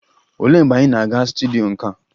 Olee mgbe anyị na-aga studyo nka?